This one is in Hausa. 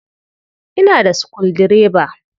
Ina da sukuldireba.